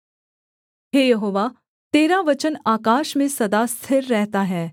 हे यहोवा तेरा वचन आकाश में सदा तक स्थिर रहता है